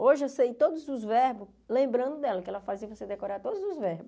Hoje eu sei todos os verbos, lembrando dela, que ela fazia você decorar todos os verbos.